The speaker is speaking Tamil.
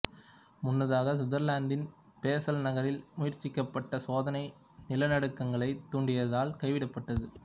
முன்னதாக சுவிட்சர்லாந்தின் பேசல் நகரில் முயற்சிக்கப்பட்ட சோதனை நிலநடுக்கங்களைத் தூண்டியதால் கைவிடப்பட்டது